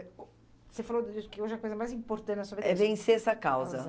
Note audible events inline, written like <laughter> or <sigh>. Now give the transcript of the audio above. Você falou <unintelligible> que hoje a coisa mais importante na sua vida... É vencer essa causa.